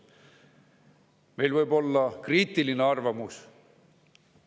Meil võib-olla kriitiline arvamus.